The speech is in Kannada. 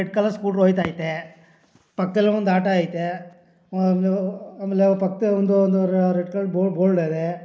ರೆಡ್ ಕಲರ್ ಸ್ಕೂಟರ್ ಹೋಗ್ತಾ ಐತೆ ಪಕ್ಕದಲ್ಲಿ ಒಂದು ಆಟೋ ಐತೆ ಒಂದು ಆಮೇಲೆ ಪಕ್ಕದಲ್ಲಿ ಒಂದ ಒಂದು ರೆಡ್ ಕಲರ್ ಬೋರ್ಡ್ ಅದೇ.